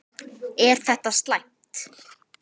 Er það slæmt?